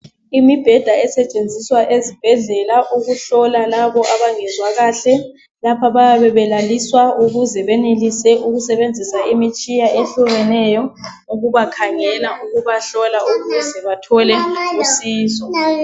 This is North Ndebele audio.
Imibheda esetshenziswa ezibhedlela ukuhlola laba abangezwa kahle belaliswa ukuze benelise ukusebenzisa imitshina etshiyeneyo ukubakhangela ukubahlola ukuze bathole usizo.